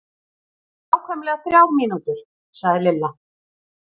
Nákvæmlega þrjár mínútur sagði Lilla.